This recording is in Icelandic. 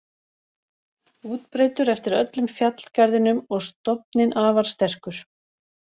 Útbreiddur eftir öllum fjallgarðinum og stofninn afar sterkur.